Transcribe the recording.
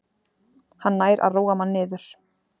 Hann nær að róa mann niður